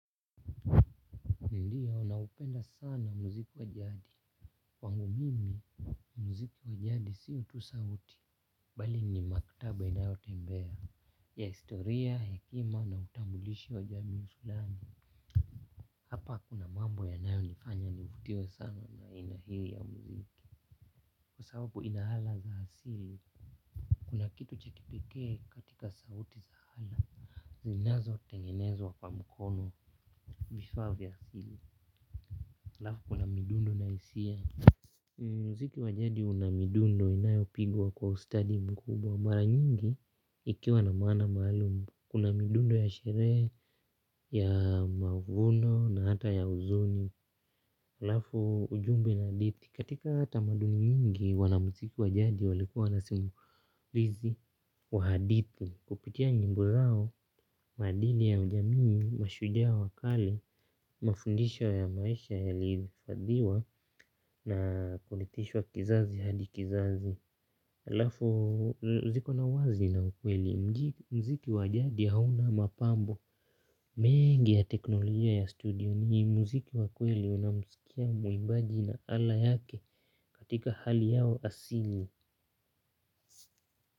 Ndio naupenda sana muziki wa jadi. Kwangu mimi muziki wa jadi sio tu sauti. Bali ni maktaba inayotembea, ya historia, hekima na utambulishi wa jamii fulani. Hapa kuna mambo yanayo nifanya nivutiwe sana na aina hii ya muziki. Kwa sababu ina ala za asili, kuna kitu cha kipekee katika sauti za ala. Zinazo tengenezwa kwa mkono vifaa vya asili. Alafu kuna midundo na hisia. Muziki wa jadi una midundo inayo pigwa kwa ustadi mkubwa. Mara nyingi, ikiwa na maana maalumu. Kuna midundo ya sherehe, ya mavuno na hata ya huzuni. Alafu ujumbe na hadithi. Katika tamaduni nyingi wana mziki wa jadi walikuwa na simulizi kwa hadithi. Kupitia nyimbo zao, maadili ya ujamii, mashujaa wa kale mafundisho ya maisha yalihifadhiwa na kurithishwa kizazi hadi kizazi. Alafu ziko na uwazi na ukweli. Muziki wa jadi hauna mapambo, mengi ya teknolojia ya studio. Ni muziki wa kweli unao msikia muimbaji na ala yake katika hali yao asili.